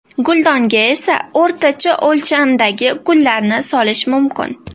Guldonga esa o‘rtacha o‘lchamdagi gullarni solish mumkin.